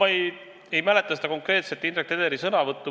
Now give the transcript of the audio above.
Ma ei mäleta seda konkreetset Indrek Tederi sõnavõttu.